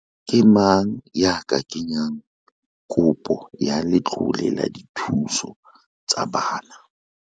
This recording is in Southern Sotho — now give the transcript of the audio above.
Ke mang ya ka kenyang kopo ya letlole la dithuso tsa bana?